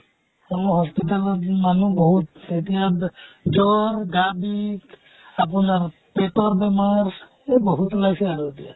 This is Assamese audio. hospital ত মানুহ বিহুত এতিয়া দে জ্বৰ গা বিষ আপোনাৰ পেতৰ বেমাৰ এহ বহুত ওলাইছে আৰু এতিয়া।